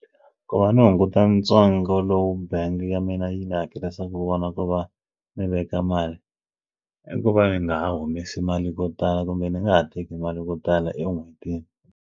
Ku va ndzi hunguta ntsengo lowu bangi ya mina yi ni hakelisa ku vona ku va mi veka mali i ku va ni nga humesi mali yo tala kumbe ndzi nga ha teki mali ko tala en'hwetini.